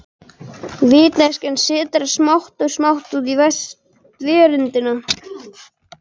Vitneskjan sitrar smátt og smátt út í verundina.